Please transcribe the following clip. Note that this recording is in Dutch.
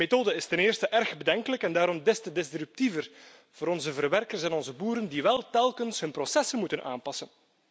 De methode is ten eerste erg bedenkelijk en daarom des te destructiever voor onze verwerkers en onze boeren, die telkens hun processen moeten aanpassen.